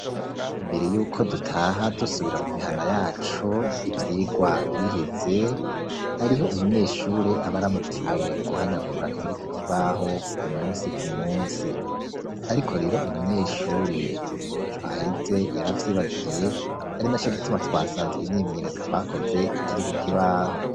Imbere yuko dutaha, dusubira mu mihana yacu, ivyigwa biheze, hariho umunyeshure aba aramukiwe guhanagura ibiri ku kibaho, ku munsi ku munsi; ariko rero umunyeshure w'ejo haheze, yaravyibagiye, ari na co gituma twasanze, imyimenyerezo twakoze ikiri ku kibaho.